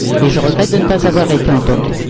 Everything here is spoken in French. Je regrette de ne pas avoir été entendue.